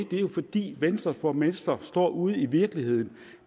det er jo fordi venstres borgmestre står ude i virkeligheden